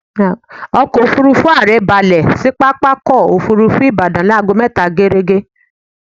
Ọkọ̀-òfurufú ààrẹ balẹ̀ sí pápákọ̀-òfurufú Ìbàdàn ní aago mẹta géérégé.